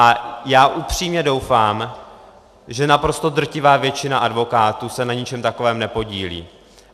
A já upřímně doufám, že naprosto drtivá většina advokátů se na ničem takovém nepodílí.